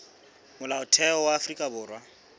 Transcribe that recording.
molaotheo wa afrika borwa o